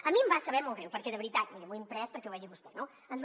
a mi em va saber molt greu perquè de veritat miri m’ho he imprès perquè ho vegi vostè no ens va